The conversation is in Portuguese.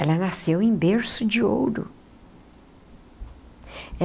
Ela nasceu em berço de ouro.